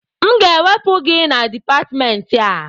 M ga-ewepụ gị na Dipatmentị a!